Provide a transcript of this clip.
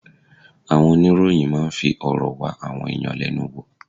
Àwọn oníròyìn máa ń fi ọ̀rọ̀ wá àwọn ẹ̀yàn lẹ́nu wò.